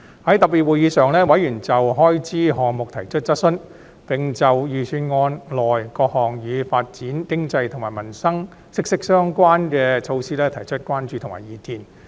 在特別會議上，委員就開支項目提出質詢，並就預算案內各項與發展經濟及與民生息息相關的措施提出關注和意見。